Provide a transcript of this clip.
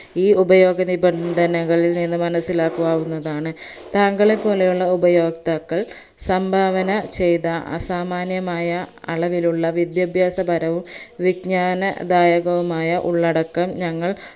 ഈ ഉപയോഗനിബന്ധനകളിൾ നിന്ന് മനസിലാക്കാവുന്നതാണ് താങ്കളെ പോലെയുള്ള ഉഭയോക്താക്കൾ സംഭാവന ചെയ്ത അസാമാന്യമായ അളവിലുള്ള വിദ്യാഭ്യാസപരവും വിക്ജാനദായകവുമായ ഉള്ളടക്കം ഞങ്ങൾ